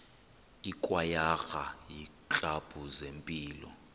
ikwayara iiklabhu zempilo